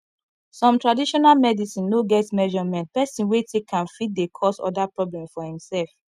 some traditional medicine no get measurement person wey take am fit dey cause oda problem for imself